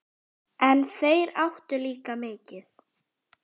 En þeir áttu líka mikið.